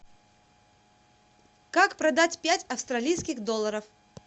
как продать пять австралийских долларов